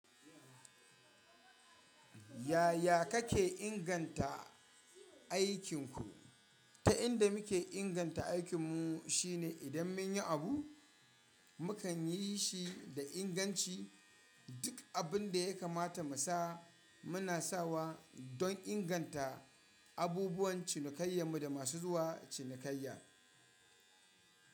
Yaya kake inganta aikinku? Ta inda muke inganta aikinmu shine idan mun yi abu, mu kan yi shi da inganci. Duk abin da ya kamata mu sa muna sawa don inganta abubuwan cinikayyanmu da masu zuwa cinikayya.